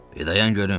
Bir dayan görüm.